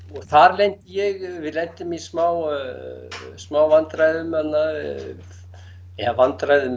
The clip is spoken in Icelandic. og þar lendi ég við lentum í smá smá vandræðum þarna eða vandræðum